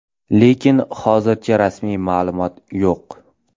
Lekin hozircha rasmiy ma’lumot yo‘q.